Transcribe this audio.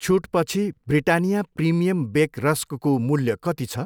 छुटपछि Britannia premium bake रस्कको मूल्य कति छ?